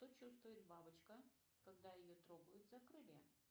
что чувствует бабочка когда ее трогают за крылья